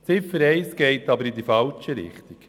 Die Ziffer 1 geht jedoch in die falsche Richtung.